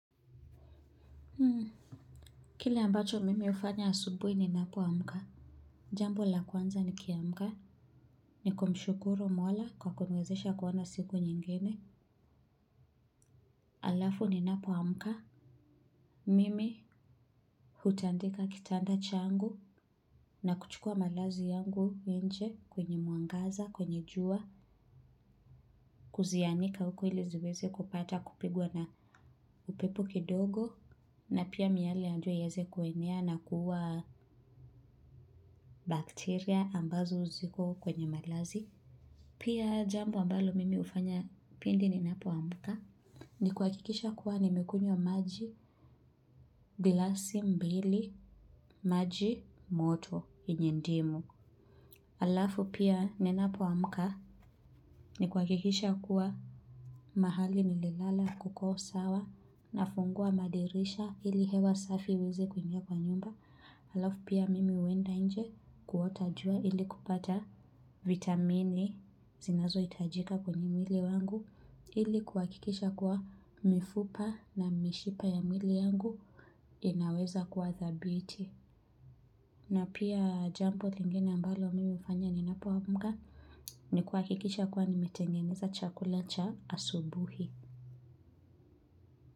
Kile ambacho mimi hufanya asubuhi ninapoamka. Jambo la kwanza nikiamka. Ni kumshukuru Mola kwa kuniwezesha kuona siku nyingine. Alafu ninapoamka. Mimi hutandika kitanda changu na kuchukua malazi yangu nje kwenye mwangaza, kwenye jua, kuzianika huko ili ziweze kupata kupigwa na upepo kidogo na pia miale ya jua ieze kuenea na kuua bakteria ambazo ziko kwenye malazi. Pia jambo ambalo mimi hufanya pindi ninapoamka ni kuhakikisha kuwa nimekunywa maji, glasi mbili, maji, moto, yenye ndimu. Alafu pia ninapoamka ni kuhakikisha kuwa mahali nililala kuko sawa nafungua madirisha ili hewa safi iweze kuingia kwa nyumba. Alafu pia mimi huenda nje kuota jua ili kupata vitamini zinazohitajika kwenye mwili wangu ili kuhakikisha kuwa mifupa na mishipa ya mwili yangu inaweza kuwa thabiti na pia jambo lingine ambalo mimi hufanya ninapoamka ni kuhakikisha kuwa nimetengeneza chakula cha asubuhi.